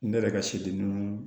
Ne yɛrɛ ka sidimin